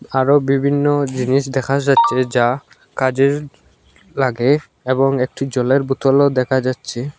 আরও বিভিন্ন জিনিস দেখা যাচ্চে যা কাজের লাগে এবং একটি জলের বোতলও দেকা যাচ্চে।